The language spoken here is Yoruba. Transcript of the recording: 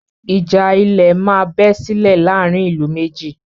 Ìjà ilẹ̀ má bẹ́ sílè láàárín ìlú méjì.